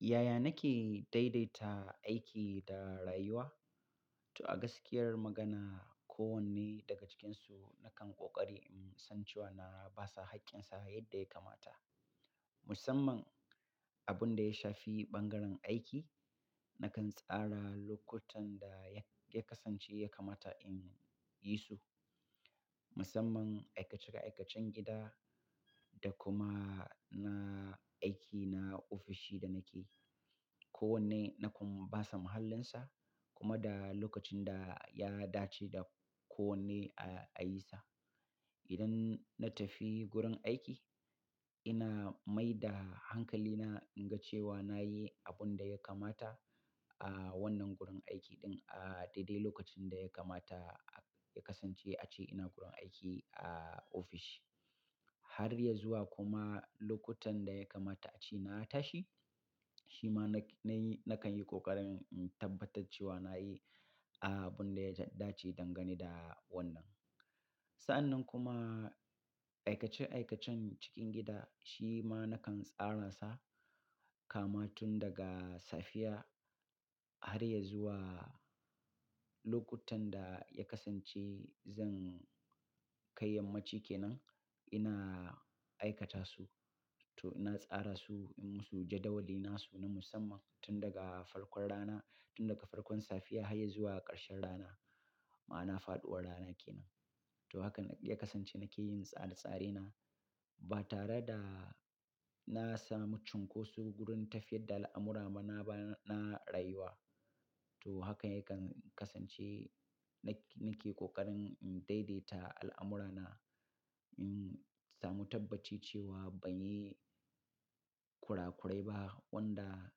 Yaya nake daidaita aiki da rayuwa? To a gaskiyar magana, kowanne daga cikinsu nakan ƙoƙari in san cewa na ba sa haƙƙinsa yadda ya kamata. Musamman abun da ya shafi bangaren aiki, nakan tsara lokutan da ya kasance ya kamata in yi su. Musamman aikace-aikacen gida da kuma na aiki na ofishi da nake, kowanne na kuma ba sa mahallinsa kuma da lokacin da ya dace da kowanne a yi sa. Idan na tafi gurin aiki, ina mai da hankalina in ga cewa na yi abun da ya kamata a wannan gurin aiki ɗin a daidai lokacin da ya kamata ya kasance a ce ina gurin aiki a ofishi. Har ya zuwa kuma lokutan da ya kamata a ce na tashi, shi ma na yi-- nakan yi ƙoƙarin in tabbatar cewa na yi abun da ya dace dangane da wannan. Sa'an nan kuma aikace-aikacen cikin gida shi ma nakan tsara sa kama tun daga safiya har ya zuwa lokutan da ya kasance zan kai yammaci ke nan, ina aikata su. To ina tsara su, in musu jadawali nasu na musamman tun daga farkon rana, tun daga farkon safiya har ya zuwa ƙarshen rana ma ana faɗuwar rana ke nan. To haka ya kasance nake yin tsara tsaraina ba tare da na samu cunkoso gurin tafiyar da al'amura mana ba na rayuwa. To haka yakan kasance na, nake ƙoƙarin in daidaita al'amurana in samu tabbaci cewa ban yi kurakurai ba wanda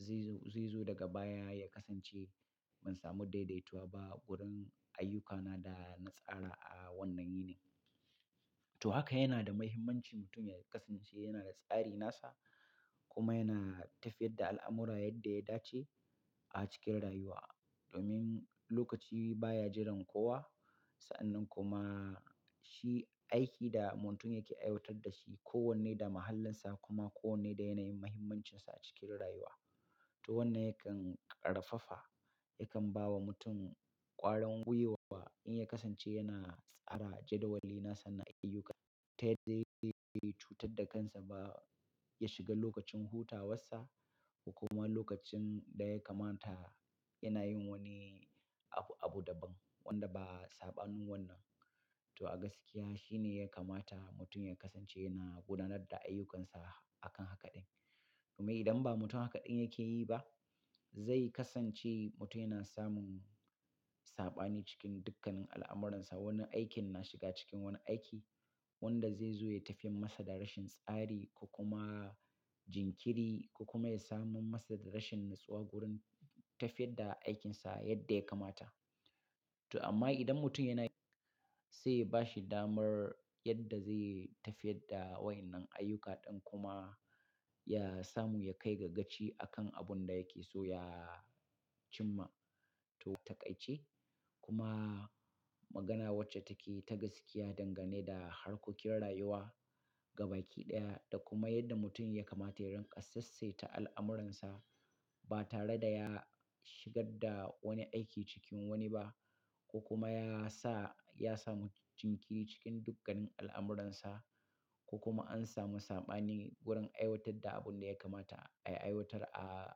zai zo, zai zo daga baya ya kasance ban samu daidaituwa ba gurin ayyukana da na tsara a wannan yini. To haka yana da muhimmanci mutum ya kasance yana da tsari nasa kuma yana tafiyar da al'amura yadda ya dace a cikin rayuwa. Domin lokaci baya jiran kowa. Sa'an nan kuma shi aiki da mutum yake aiwatar da shi, kowanne da mahallinsa kuma kowanne da yanayin muhimmancinsa a cikin rayuwa. To wannan yakan ƙarfafa, yakan ba wa mutum ƙwarin gwuiwa in ya kasance yana tsara jadawali nasa na ayyuka. Ta yadda zai cutar da kansa ba ya shiga lokacin hutawarsa ko kuma lokacin da ya kamata yana yin wani abu daban wanda ba sabanin wannan. To a gaskiya shine ya kamata mutum ya kasance yana gudanar da ayyukansa akan haka ɗin. Kuma idan ba mutum haka ɗin yake yi ba, zai kasance mutum yana samun saɓani cikin dukkannin al'amuransa. Wani aikin na shiga cikin wani aiki wanda zai zo ya tafi masa da rashin tsari ko kuma jinkiri ko kuma ya samu masa da rashin natsuwa gurin tafiyar da aikinsa yadda ya kamata. To amma idan mutum yana, sai bashi damar yadda zai tafiyar da wayen nan ayyuka ɗin kuma ya samu ya kai ga gaci akan abun da yake so ya cimma. To taƙaice kuma magana wacce take ta gaskiya dangane da harkokin rayuwa gaba ki ɗaya da kuma yadda mutum ya kamata ya rinƙa sassaita al'amuransa ba tare da ya shigar da wani aiki cikin wani ba. Ko kuma ya sa ya samu jinkiri cikin dukkannin al'amuransa ko kuma an samu saɓani gurin aiwatar da abun da ya kamata ai aiwatar a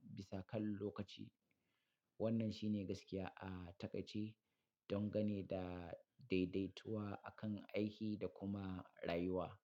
bisa kan lokaci. Wannan shine gaskiya a taƙaice dangane da daidaituwa akan aiki da kuma rayuwa.